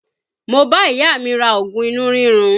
Mo bá ìyá mi ra oògùn inú rírun